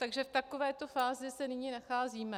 Takže v takové fázi se nyní nacházíme.